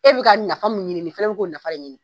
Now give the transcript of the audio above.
E bi ka nafa mun ɲini nin fana bi ka o nafa de ɲini